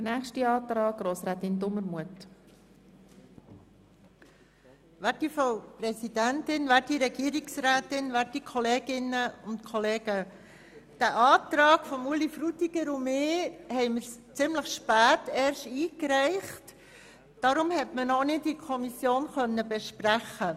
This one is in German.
Da Ueli Frutiger und ich unseren Antrag erst ziemlich spät eingereicht haben, konnte man ihn in der Kommission nicht besprechen.